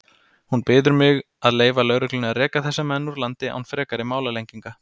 Hún biður mig að leyfa lögreglunni að reka þessa menn úr landi án frekari málalenginga.